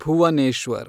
Bhuvneshwar